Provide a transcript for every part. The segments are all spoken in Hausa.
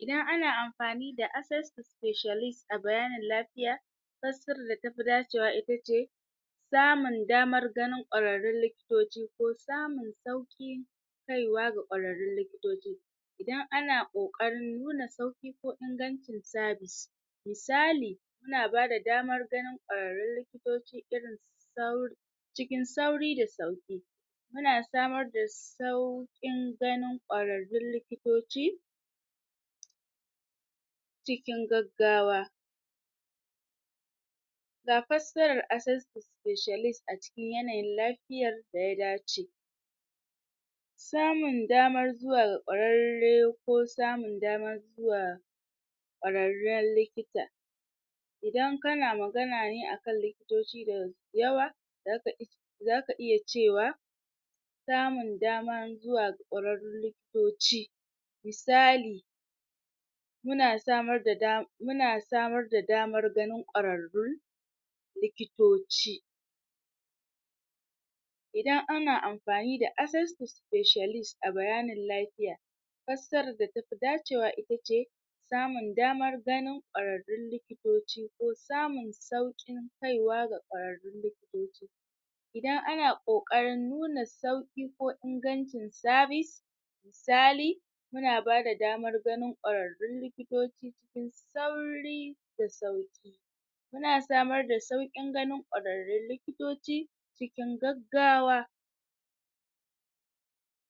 Idan ana amfani da access to specialist a bayanin lafiya fassarar da tafi dace wa itace samun damar ganin kwararrun likitoci ko samun sauƙin kaiwa ga kwararrun likitoci idan ana ƙoƙarin nuna sauƙi ko ingancin service misali suna bada damar ganin kwararrun likitoci irinsu sau cikin sauri da sauƙi muna samar da sau sauƙin ganin kwararrun likitoci cikin gaggawa ga fassarar access to specialise a cikin yanayin lafiyar daya dace samun damar zuwa kwararre ko samun damar zuwa kwararren likita idan kana magana ne akan likitoci da yawa zaka is zaka iya cewa samun damar zuwa ga kwararrun likitoci misali muna samar da damar muna samar da damar ganib kwararrun likitoci idan ana amfani da access to specialist a bayanin lafiya fassarar da tafi dacewa itace samun damar ganin kwararrun likitoci ko samun sauƙin kaiwa ga kwararrun likitoci idan ana ƙoƙari nuna sauƙin ko ingancin sarvice misali muna bada damar ganin kwararrun likitoci cikin sauri da sauƙi muna samar da sauƙin ganin kwararrun likitoci cikin gaggawa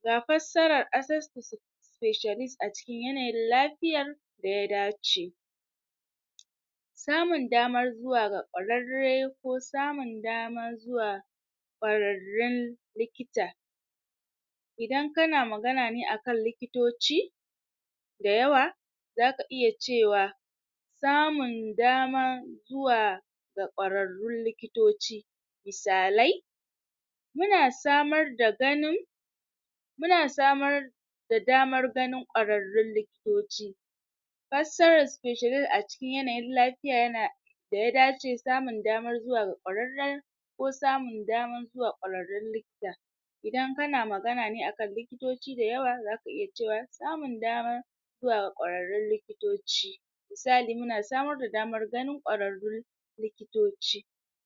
ga fassarar access to spi specialist a cikin yanayin lafiyar daya dace samun damar zuwa ga kwararre ko samun damar zuwa kwararren likita idan kana magana ne akan likitoci da yawa zaka iya cewa samun damar zuwa ga kwararrun likitoci misalai muna samar da ganin muna samar da damar gain kwararrun likitoci fassarar specialist a cikin yananyin lafiya yana da ya dace samun damar zuwa ga kwararren ko samun damar zuwa kwararun likita idan kana magane akan likitoci da yawa zaka iya cewa samu damar zuwa ga kwararrun likitoci misali muna samar da damar ganin kwararrun likitoci